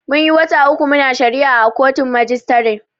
Munyi wata uku muna shari'a a kotun majistare.